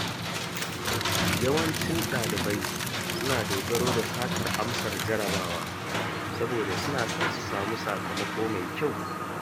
Yawancin ɗalibai suna dogaro da satar jarabawa saboda suna son samun sakamako mai kyau.